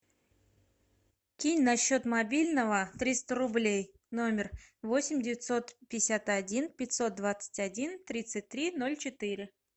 кинь на счет мобильного триста рублей номер восемь девятьсот пятьдесят один пятьсот двадцать один тридцать три ноль четыре